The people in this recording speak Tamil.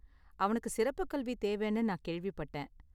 அவனுக்கு சிறப்புக் கல்வி தேவைன்னு நான் கேள்விப்பட்டேன்.